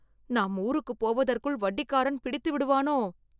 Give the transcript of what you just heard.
நாம் ஊருக்கு போவதற்குள் வட்டிக்காரன் பிடித்துவிடுவானோ..